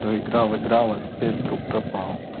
то играл играл а теперь вдруг пропал